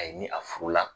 A ye ni a furu la